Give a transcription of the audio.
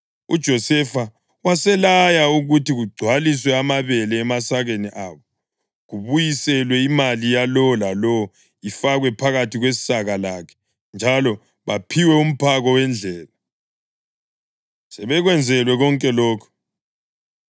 UJosefa waselaya ukuthi kugcwaliswe amabele emasakeni abo, kubuyiselwe imali yalowo lalowo ifakwe phakathi kwesaka lakhe njalo baphiwe umphako wendlela. Sebekwenzelwe konke lokho,